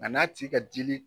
A n'a ti ka dili